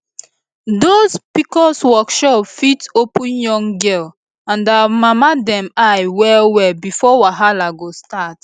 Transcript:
those pcos workshop fit open young girl and our mama dem eye well well before wahala go start